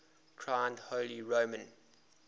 crowned holy roman